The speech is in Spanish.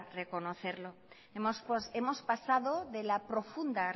reconocerlo hemos pasado de la profunda